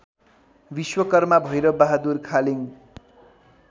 Vishwakarma Bhairab Bahadur Khaling